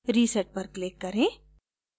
reset पर click करें